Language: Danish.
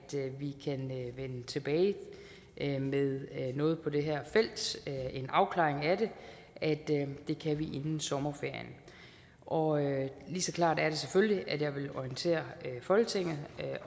vi kan vende tilbage med noget på det her felt en afklaring af det inden sommerferien og lige så klart er det selvfølgelig at jeg vil orientere folketinget